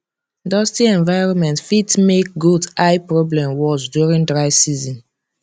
dusty environment fit make goat eye problem worse during dry season